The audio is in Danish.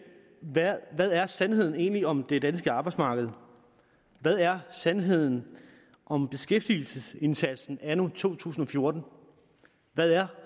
hvad er sandheden egentlig om det danske arbejdsmarked hvad er sandheden om beskæftigelsesindsatsen anno 2014 hvad er